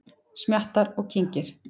Smjattar og kyngir.